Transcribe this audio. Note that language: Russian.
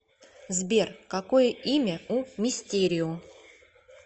сбер какое имя у мистерио